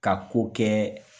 Ka ko kɛ